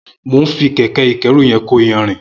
Mó n fi kẹkẹ ikẹ̀rú yẹn kó iyànrín